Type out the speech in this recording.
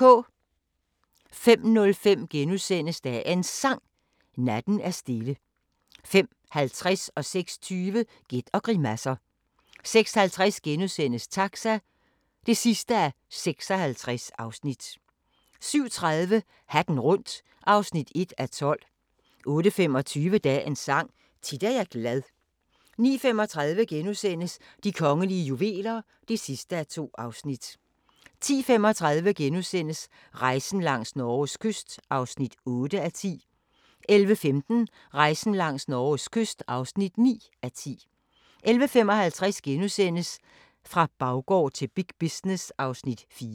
05:05: Dagens Sang: Natten er stille * 05:50: Gæt og grimasser 06:20: Gæt og grimasser 06:50: Taxa (56:56)* 07:30: Hatten rundt (1:12) 08:25: Dagens Sang: Tit er jeg glad 09:35: De kongelige juveler (2:2)* 10:35: Rejsen langs Norges kyst (8:10)* 11:15: Rejsen langs Norges kyst (9:10) 11:55: Fra baggård til big business (Afs. 4)*